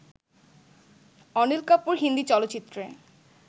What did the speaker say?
অনিল কাপুর হিন্দি চলচ্চিত্রে